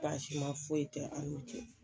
Baasi ma foyi tɛ an nu cɛ.